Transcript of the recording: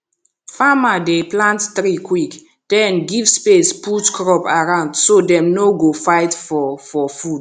farmer dey plant tree quick then give space put crop around so dem no go fight for for food